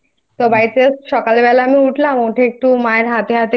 তো বাড়িতে সকাল বেলা আমি উঠলাম উঠে একটু মায়ের